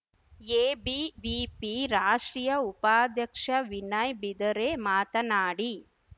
ABVP ರಾಷ್ಟ್ರೀಯ ಉಪಾಧ್ಯಕ್ಷ ವಿನಯ್ ಬಿದರೆ ಮಾತನಾಡಿ